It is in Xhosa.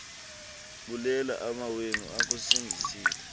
bulela amawenu akusindisileyo